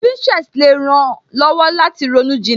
Pinterest le ran ó lọ́wọ́ láti ronú jinlẹ